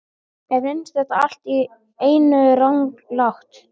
Og mér finnst þetta allt í einu ranglátt.